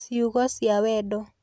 Ciugo cia Wendo